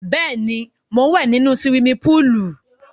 Bẹ́ẹ̀ ni, mò ń wẹ̀ nínu siwimi póòlù.